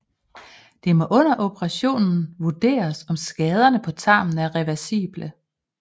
Det må under operationen vurderes om skaderne på tarmen er reversible